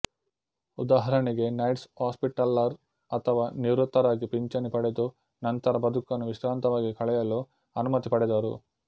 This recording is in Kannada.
ಉದಾಹರಣೆಗೆ ನೈಟ್ಸ್ ಹಾಸ್ಪಿಟ್ಟಲ್ಲರ್ ಅಥವಾ ನಿವೃತ್ತರಾಗಿ ಪಿಂಚಣಿ ಪಡೆದು ನಂತರ ಬದುಕನ್ನು ವಿಶ್ರಾಂತವಾಗಿ ಕಳೆಯಲು ಅನುಮತಿ ಪಡೆದರು